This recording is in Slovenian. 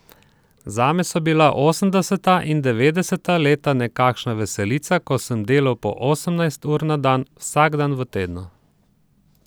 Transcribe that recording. Zame so bila osemdeseta in devetdeseta leta nekakšna veselica, ko sem delal po osemnajst ur na dan, vsak dan v tednu.